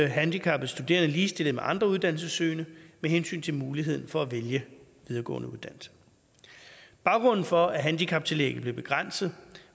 handicappede studerende ligestillet med andre uddannelsessøgende med hensyn til muligheden for at vælge en videregående uddannelse baggrunden for at handicaptillægget blev begrænset